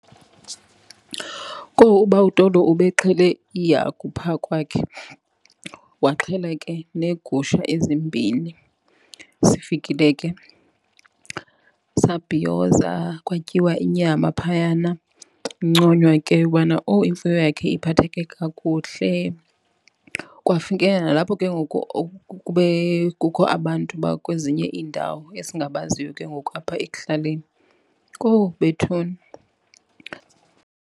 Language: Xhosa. Kowu ubawo uTolo ube xhele ihagu phaa kwakhe waxhela ke neegusha ezimbini. Sifikile ke sabhiyoza, kwatyiwa inyama phayana kunconywa ke ubana owu imfuyo yakhe iphatheke kakuhle. Kwafikelela nalapho ke ngoku kukho abantu bakwezinye iindawo esingabaziyo ke ngoku apha ekuhlaleni, kowu bethuna.